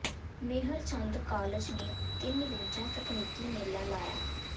ਮੇਹਰ Chand college ਨੇ ਤਿੰਨ ਰੋਜ਼ਾ ਤਕਨੀਕੀ ਮੇਲਾ ਲਾਇਆ